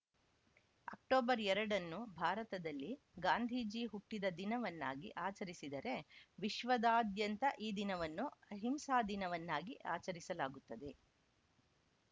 October ಎರಡನ್ನು ಭಾರತದಲ್ಲಿ ಗಾಂಧಿಜಿ ಹುಟ್ಟಿದ ದಿನವನ್ನಾಗಿ ಆಚರಿಸಿದರೆ ವಿಶ್ವದಾದ್ಯಂತ ಈ ದಿನವನ್ನು ಅಹಿಂಸಾದಿನವನ್ನಾಗಿ ಆಚರಿಸಲಾಗುತ್ತದೆ